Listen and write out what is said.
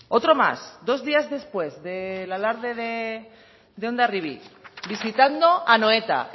otro más dos días después del alarde de hondarribi visitando anoeta